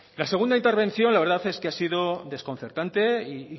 la segunda intervención la verdad es que ha sido desconcertante y